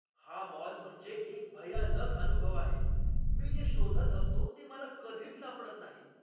हा मॉल म्हणजे एक भयानक अनुभव आहे. मी जे शोधत असतो ते मला कधीच सापडत नाही.